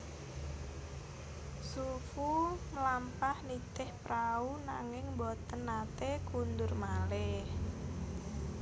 Xu Fu mlampah nitih prau nanging boten naté kundur malih